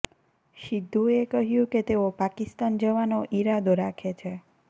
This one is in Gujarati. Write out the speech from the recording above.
સિદ્ધુએ કહ્યું કે તેઓ પાકિસ્તાન જવાનો ઈરાદો રાખે છે